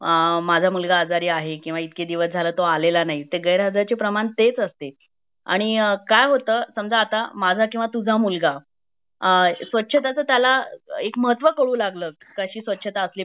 अ माझा मुलगा आजारी आहे किंवा इतके दिवस तो आलेला नाही तर गैरहजर चे प्रमाण तेच असते आणि काय होतं समजा आता माझा किंवा तुझा मुलगा अ सवाछता च त्याला एक महत्व कळू लागला काशी स्वच्छता असली पाहिजे बाहेर